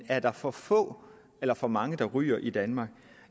er der for få eller for mange der ryger i danmark